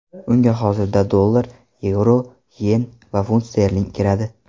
Unga hozirda dollar, yevro, yen va funt sterling kiradi.